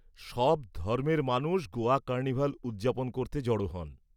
সব ধর্মের মানুষ গোয়া কার্নিভাল উদযাপন করতে জড়ো হন।